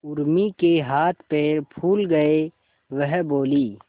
उर्मी के हाथ पैर फूल गए वह बोली